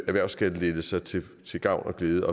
erhvervsskattelettelser til til gavn og glæde